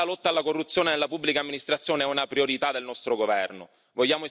Anche la lotta alla corruzione nella pubblica amministrazione è una priorità del nostro governo.